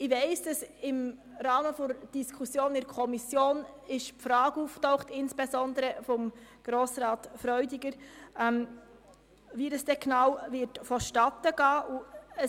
Ich weiss, dass im Rahmen der Diskussion in der Kommission insbesondere die Frage von Grossrat Freudiger auftauchte, wie das schliesslich genau vonstattengehen werde.